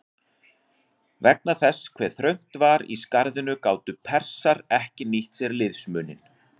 Vegna þess hve þröngt var í skarðinu gátu Persar ekki nýtt sér liðsmuninn.